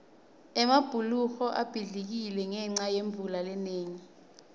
emabhuloho abhidlikile ngenca yemvula lenengi